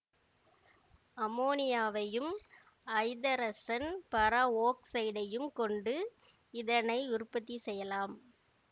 அமோனியாவையும் ஐதரசன் பர ஒக்சைடையும் கொண்டு இதனை உற்பத்தி செய்யலாம்